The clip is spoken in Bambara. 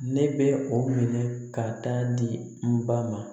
Ne bɛ o minɛ ka taa di n ba ma